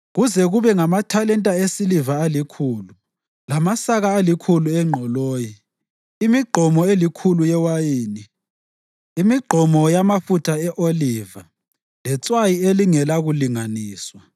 kuze kube ngamathalenta esiliva alikhulu, lamasaka alikhulu engqoloyi, imigqomo elikhulu yewayini, imigqomo elikhulu yamafutha e-oliva, letswayi elingelakulinganiswa.